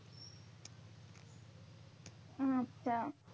আচ্ছা।